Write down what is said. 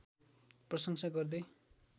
प्रशंसा गर्दै